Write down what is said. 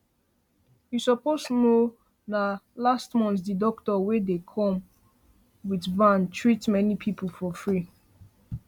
you suppose know na last month the doctor wey dey come with van treat many people for free